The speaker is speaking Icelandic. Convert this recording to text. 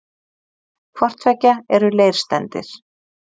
hvort tveggja eru leirsteindir